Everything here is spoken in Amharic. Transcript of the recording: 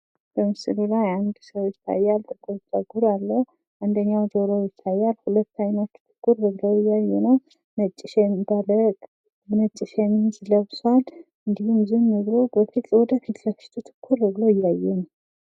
በምስሉ ላይ አንድ ሰው ይታያል ። ጥቁር ፀጉር አለው ። አንደኛው ጆሮው ይታያል ሁለት አይኖቹ ትኩር ብለው እያዩ ነው ነጭ ሸሚዝ ለብሷል ። እንዲሁም ዝም ብሎ ወደ ፊት ሰልችቶ ትኩር ብሎ እያየ ነው ።